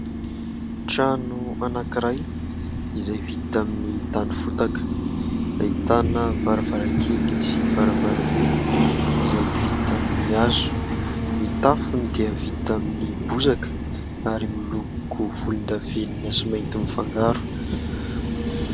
Trano anankiray izay vita amin'ny tany fotaka, ahitana varavarankely sy varavarambe izay vita amin'ny hazo, ny tafony dia vita amin'ny bozaka ary miloko volondavenona sy mainty mifangaro.